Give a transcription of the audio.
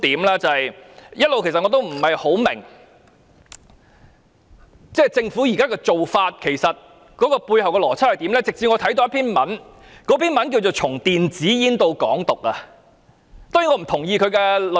一直以來，我也不大明白政府現時的做法背後有甚麼邏輯，直至我看到名為"從電子煙到港獨"的文章。